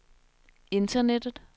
internettet